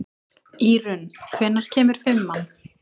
Írunn, hvenær kemur fimman?